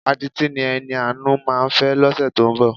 Adití ni Ẹniàánú máa fẹ́ lọ́sẹ̀ tó ń bọ̀.